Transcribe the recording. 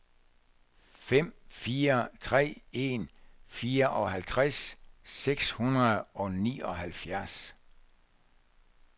fem fire tre en fireoghalvtreds seks hundrede og nioghalvfjerds